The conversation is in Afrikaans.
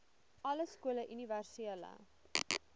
alle skole universele